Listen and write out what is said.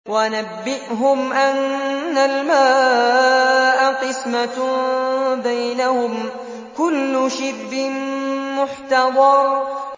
وَنَبِّئْهُمْ أَنَّ الْمَاءَ قِسْمَةٌ بَيْنَهُمْ ۖ كُلُّ شِرْبٍ مُّحْتَضَرٌ